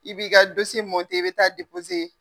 I b'i ka mɔntɛ i bɛ taa